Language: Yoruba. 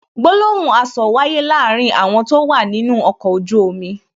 Gbólóhùn asọ̀ wáyé láàárín àwọn tó wà nínú ọkọ̀ ojú omi